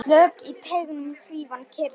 Slök í teignum hrífan kyrjar.